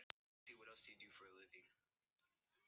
Miriam, hvernig er dagskráin í dag?